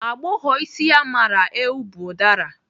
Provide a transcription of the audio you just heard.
Agbọghọ isi ya mara eu bu ụdara.